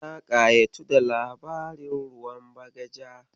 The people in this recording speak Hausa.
Na ƙayatu da labarin ruwan bagaja.